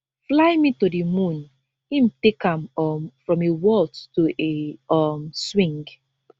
fly me to di moon im take am um from a waltz to a um swing